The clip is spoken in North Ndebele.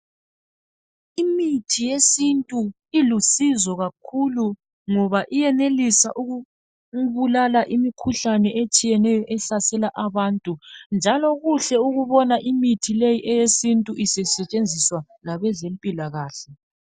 Imithi yesintu ilusizo kakhulu ngoba iyenelisa ukubulala imikhuhlane ehlukeneyo ehlasela abantu njalo kuhle ukubona limithi sisetshenziswa ngabezempilakahle.